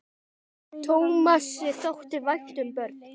Tómasi þótti vænt um börn.